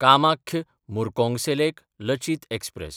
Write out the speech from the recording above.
कामाख्य–मुर्कोंगसेलेक Lachit express